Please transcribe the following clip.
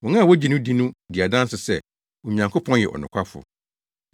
Wɔn a wogye no di no di adanse sɛ, Onyankopɔn yɛ ɔnokwafo.